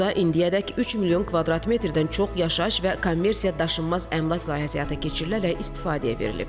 Burda indiyədək 3 milyon kvadrat metrdən çox yaşayış və kommersiya daşınmaz əmlak layihəsi həyata keçirilərək istifadəyə verilib.